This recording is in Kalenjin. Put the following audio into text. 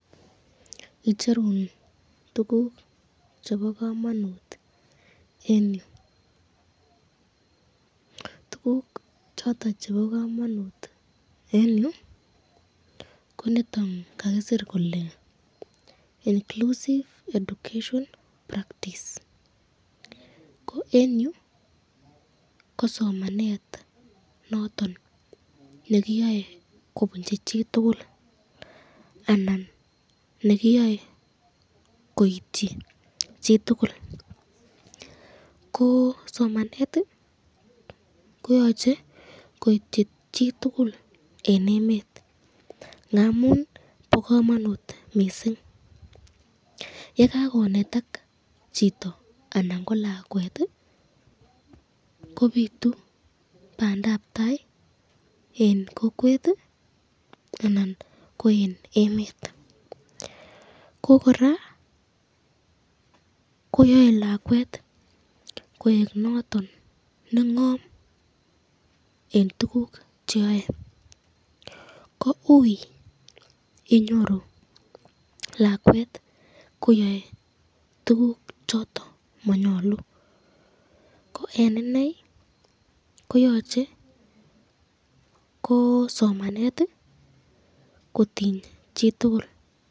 Icherun tukuk chebo kamanut eng yu , tukuk choton chebo kamanut eng yu ,ko chuton kakisir kele inclusive education practice ko eng yu kosomanet noton nekiyoe kobunchi chitukul anan nekiyoe koityi chitukul, ko somanet koyache koityi chitukul eng emet ngamun bo kamanut mising, ye kakonetak chito anan ko lakwet kobitu bandabtai eng kokwet anan ko eng emet ko kora koyae lakwet koek noton eng eng tukuk cheyoe, ko ui inyoru lakwet koyae tukuk choton manyalu, ko eng inei koyache ko somanet kotiny chitukul